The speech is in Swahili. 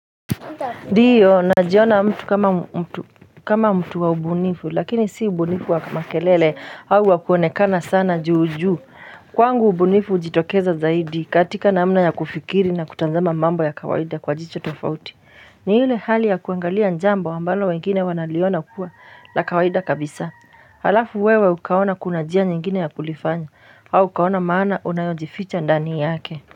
Ndio na jiona mtu kama mtu wa ubunifu lakini si ubu nifu wa makelele au wakuonekana sana juu juu Kwangu ubu nifu ujitokeza zaidi katika namna ya kufikiri na kutanzama mambo ya kawaida kwa jicho tofauti ni yule hali ya kuangalia jambo ambalo wengine wanaliona kuwa la kawaida kabisa Halafu wewe ukaona kunajia nyingine ya kulifanya au ukaona maana unayojificha ndanii yake.